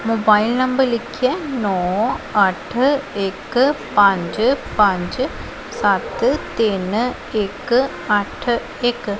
Mobile number ਲਿਖਿਆ ਨੋ ਅੱਠ ਇੱਕ ਪੰਜ ਪੰਜ ਸੱਤ ਤਿੰਨ ਇੱਕ ਅੱਠ ਇੱਕ।